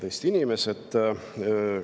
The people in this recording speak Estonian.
Head Eesti inimesed!